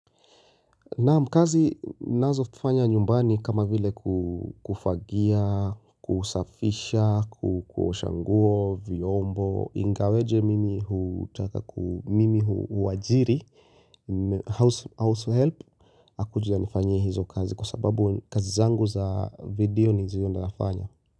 Naam kazi ninazofanya nyumbani kama vile kufagia, kusafisha, kuosha nguo, vyombo, ingawaje mimi hutaka, mimi huwajiri, househelp, akuje anifanyie hizo kazi kwa sababu kazi zangu za vidioni ndizo nafanya.